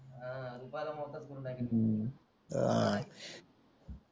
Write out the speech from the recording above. हां रुपयाला मोहताज करून टाकीन मी